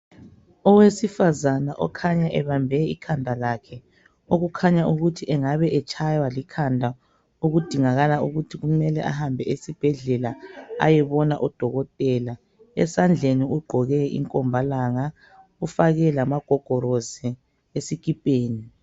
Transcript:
Owesifazana okhanya ebambe ikhanda lakhe, okukhanya ukuthi engabe etshaywa likhanda okudingakala ukuthi kumele ahambe esibhedlela ayebona udokotela. Esandleni ugqoke inkombalanga, ufake lamagogolosi esikipeni.